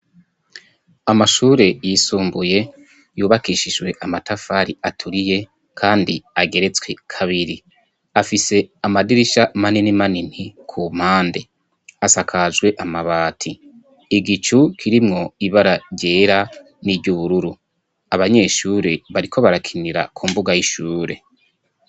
Amashure yisumbuye yubakishijwe amatafari aturiye kandi ageretswe kabiri afise amadirisha manini manini ku mpande asakajwe amabati igicu kirimwo ibararyera n'iry'ubururu, abanyeshure bariko barakinira ku mbuga y'ishure.